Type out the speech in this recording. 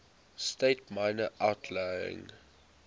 states minor outlying